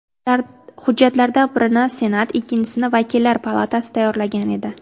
Hujjatlardan birini Senat, ikkinchisini vakillar palatasi tayyorlagan edi.